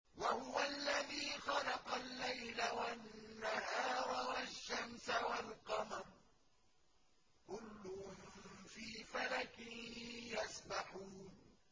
وَهُوَ الَّذِي خَلَقَ اللَّيْلَ وَالنَّهَارَ وَالشَّمْسَ وَالْقَمَرَ ۖ كُلٌّ فِي فَلَكٍ يَسْبَحُونَ